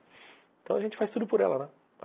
Então a gente faz tudo por ela, né?